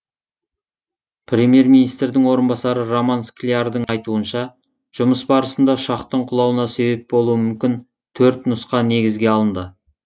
премьер министрдің орынбасары роман склярдың айтуынша жұмыс барысында ұшақтың құлауына себеп болуы мүмкін төрт нұсқа негізге алынды